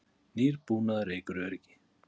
Nýr búnaður eykur öryggi